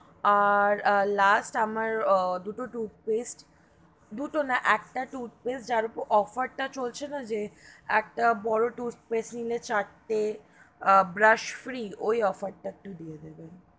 আর, আর last আমার দুটো toothpaste দুটো না একটা toothpaste, যার ওপর offer তা চলছে না, যে একটা বড়ো toothpaste নিলে চারটে brush free ওই offer তা একটু দিয়ে দেবেন।